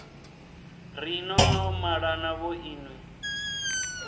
ri no no malana vhoinwi